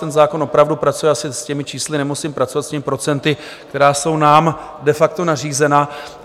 Ten zákon opravdu pracuje - asi s těmi čísly nemusím pracovat - s těmi procenty, která jsou nám de facto nařízena.